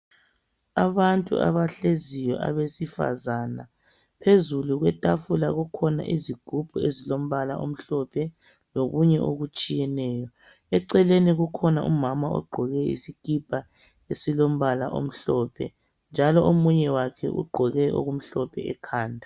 Abantu abahleziyo abesifazana. Phezulu kwetafula kukhona izigubhu ezilombala omhlophe lokunye okutshiyeneyo. Eceleni kukhona umama ogqoke isikipa esilombala omhlophe, njalo omunye wakhe ugqoke okumhlophe ekhanda.